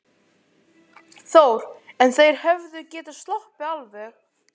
Þór: En þeir hefðu getað sloppið alveg?